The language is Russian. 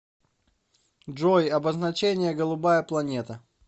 джой обозначение голубая планета